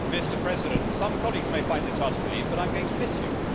Mr President, some colleagues may find this hard to believe but I am going to miss you.